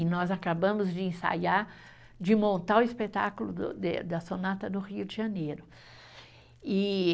E nós acabamos de ensaiar, de montar o espetáculo do de da sonata no Rio de Janeiro, e